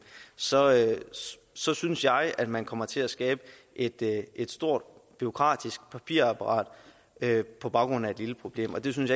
så så synes jeg at man kommer til at skabe et et stort bureaukratisk papirapparat på baggrund af et lille problem og det synes